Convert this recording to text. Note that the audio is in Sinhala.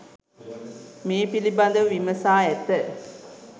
මේ පිළිබඳව විමසා ඇත.